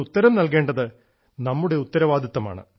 ഉത്തരം നൽകേണ്ടത് നമ്മുടെ ഉത്തരവാദിത്വമാണ്